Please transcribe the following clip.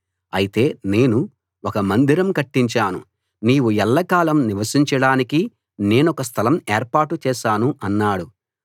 అయితే నేను ఒక గొప్ప మందిరం కట్టించాను నీవు ఎల్లకాలం నివసించడానికి నేనొక స్థలం ఏర్పాటు చేశాను అన్నాడు